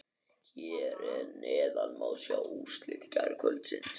Hér að neðan má sjá úrslit gærkvöldsins.